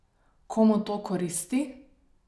Komu to koristi?